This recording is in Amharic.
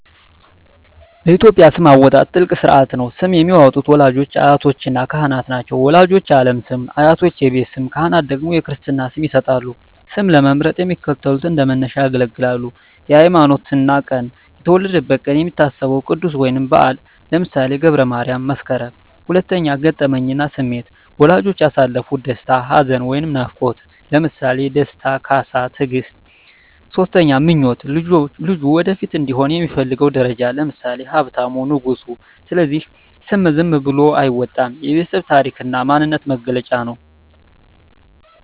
በኢትዮጵያ ስም አወጣጥ ትልቅ ሥርዓት ነው። ስም የሚያወጡት ወላጆች፣ አያቶችና ካህናት ናቸው። ወላጆች የዓለም ስም፣ አያቶች የቤት ስም፣ ካህናት ደግሞ የክርስትና ስም ይሰጣሉ። ስም ለመምረጥ የሚከተሉት እንደ መነሻ ያገለግላሉ 1)ሃይማኖትና ቀን የተወለደበት ቀን የሚታሰበው ቅዱስ ወይም በዓል (ለምሳሌ ገብረ ማርያም፣ መስከረም)። 2)ገጠመኝና ስሜት ወላጆች ያሳለፉት ደስታ፣ ሐዘን ወይም ናፍቆት (ለምሳሌ ደስታ፣ ካሳ፣ ትግስት)። 3)ምኞት ልጁ ወደፊት እንዲሆን የሚፈለገው ደረጃ (ለምሳሌ ሀብታሙ፣ ንጉሱ)። ስለዚህ ስም ዝም ብሎ አይወጣም፤ የቤተሰብ ታሪክና የማንነት መገለጫ ነው።